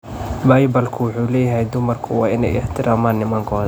Baybalku wuxuu leeyahay dumarku waa inay ixtiraamaan nimankooda.